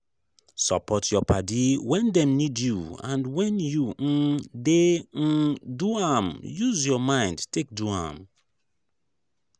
support your padi when dem need you and when you um dey um do am use your mind take do am